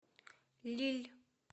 лилль